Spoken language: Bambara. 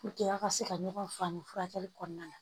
aw ka se ka ɲɔgɔn faamu furakɛli kɔnɔna na